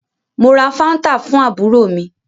Mo ra fanta fún àbúrò mí